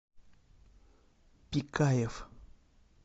пикаев